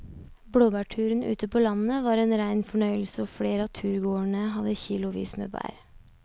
Blåbærturen ute på landet var en rein fornøyelse og flere av turgåerene hadde kilosvis med bær.